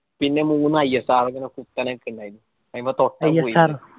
പിന്നെ മൂന്ന് ISRO ഇങ്ങനെ കുത്തനെ നിക്കുന്നെ ഇണ്ട് അയിമ തൊട്ടാ .